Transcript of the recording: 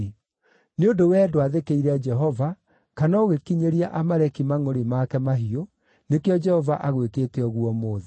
Nĩ ũndũ wee ndwathĩkĩire Jehova, kana ũgĩkinyĩria Amaleki mangʼũrĩ make mahiũ, nĩkĩo Jehova agwĩkĩte ũguo ũmũthĩ.